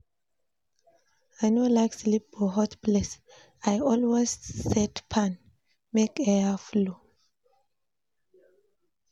I no like sleep for hot place, I always set fan make air flow.